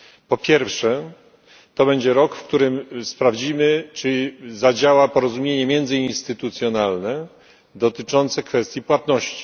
Po pierwsze, to będzie rok, w którym sprawdzimy, czy zadziała porozumienie międzyinstytucjonalne dotyczące kwestii płatności.